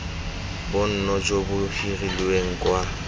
bonno jo bo hirilweng kwa